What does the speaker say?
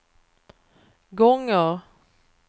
gånger